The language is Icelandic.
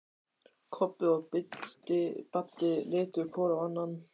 Kobbi og Baddi litu hvor á annan.